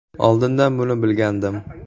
Oldindan buni bilgandim.